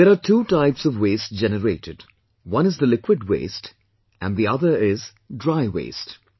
There are two types of waste generated, is the liquid waste and the other is dry waste